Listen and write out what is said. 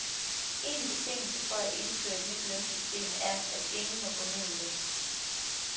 En betingelse for at indføre et nyt lønsystem er, at ingen må gå ned i løn.